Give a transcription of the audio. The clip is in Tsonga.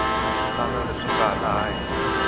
tala leswi nga laha henhla